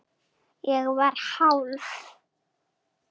Ég var hálf